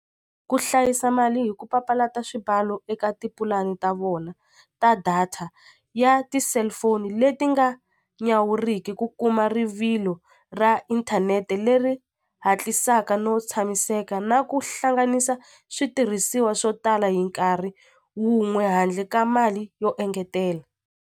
Ku hlayiwa mali hi ku papalata swibalo eka tipulani ta vona ta data ya ti-cellphone le ti nga nyawuriki ku kuma rivolo ra internet leri hatlisaka no tshamiseka na ku hlanganisa switirhisiwa swo tala hi nkarhi wun'we handle ka mali yo engetela.